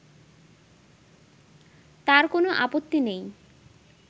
তার কোনো আপত্তি নেই